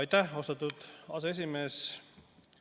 Aitäh, austatud aseesimees!